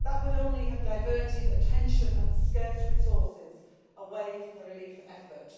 That would only have diverted attention and scarce resources away from the relief effort.